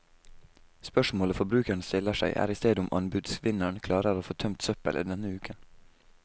Spørsmålet forbrukeren stiller seg, er i stedet om anbudsvinneren klarer å få tømt søppelet denne uken.